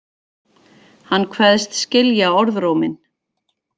Hann kveðst skilja orðróminn